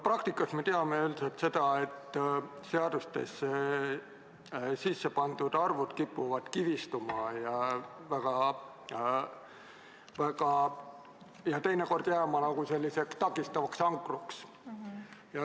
Praktikast me teame üldiselt seda, et seadustesse sisse pandud arvud kipuvad kivistuma ja teinekord jääma nagu mingiks takistavaks ankruks.